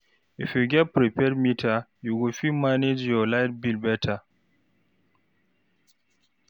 If you get prepaid meter, you go fit manage your light bill better.